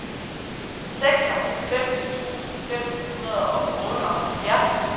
seksoghalvfems tusind fem hundrede og otteoghalvfjerds